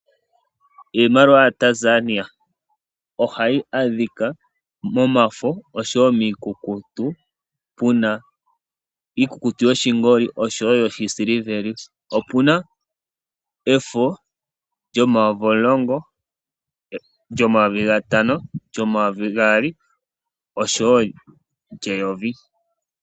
Iimaliwa yaTanzania ohayi monika momafo noshowoo miikukutu yoshingoli oshowoo yiisiliveli. Opuna efo lyo10000, ly5000, lyo2000 oshowoo lye1000.